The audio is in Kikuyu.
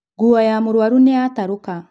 Nguo ya mũrwaru nĩyatarũka